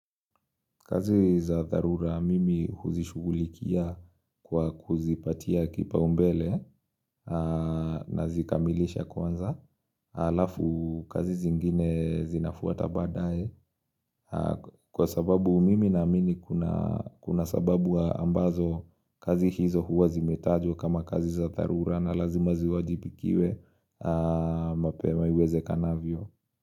Kazi za dharura mimi huzishughulikia kwa kuzipatia kipaumbele nazikamilisha kwanza. Halafu kazi zingine zinafuata badaye kwa sababu mimi naamini kuna sababu ambazo kazi hizo huwa zimetajwa kama kazi za dharura na lazima ziwajibikiwe mapema iwezekanavyo.